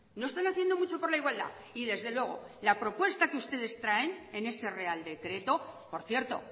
no están haciendo mucho por la igualdad y desde luego la propuesta que ustedes traen en ese real decreto por cierto